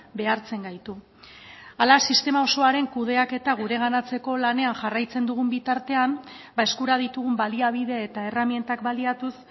behartzen gaitu hala sistema osoaren kudeaketa gureganatzeko lanean jarraitzen dugun bitartean eskura ditugun baliabide eta erremintak baliatuz